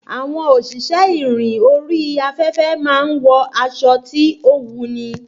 Àwọn òṣìṣẹ́ ìrìn orí afẹ́fẹ́ máa ń wọ aṣọ tí ó wuni